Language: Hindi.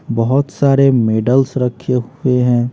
बहोत सारे मेडल्स रखे हुए हैं।